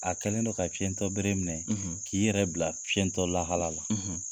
A kɛlen don ka fiyɛntɔbere minɛ, , k'i yɛrɛ bila fiyɛntɔ lahala la.